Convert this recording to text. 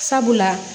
Sabula